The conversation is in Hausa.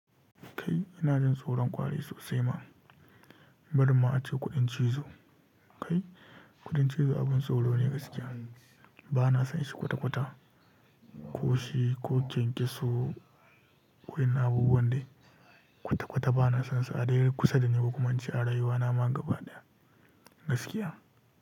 Kai ina jin tsoron kwari sosai ma, bari ma ace kuɗin cizo. Kai kuɗin cizo abin tsoro ne gaskiya. Bana son shi kwata-kwata, ko shi ko kyankyaso ko yin abubuwan da kwata-kwata bana son su. Adai kusa da ni, ko kuma ince arayuwana magaba ɗaya gaskiya.